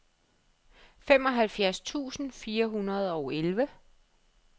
femoghalvfjerds tusind fire hundrede og elleve